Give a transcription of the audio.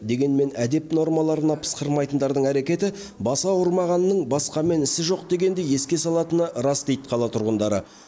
дегенмен әдеп нормаларына пысқырмайтындардың әрекеті басы ауырмағанның басқамен ісі жоқ дегенді еске салатыны рас дейді қала тұрғындары